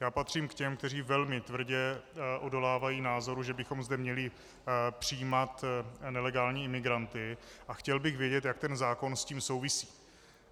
Já patřím k těm, kteří velmi tvrdě odolávají názoru, že bychom zde měli přijímat nelegální imigranty, a chtěl bych vědět, jak ten zákon s tím souvisí.